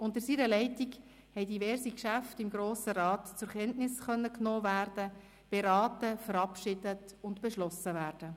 Unter seiner Leitung konnten diverse Geschäfte im Grossen Rat zur Kenntnis genommen, beraten, verabschiedet und beschlossen werden.